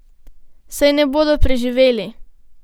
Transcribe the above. Saj ne bodo preživeli!